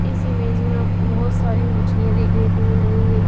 इस इमेज में आपको बहुत सारी मछलियां देखने को मिल रही है।